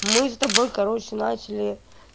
мы с тобой короче начали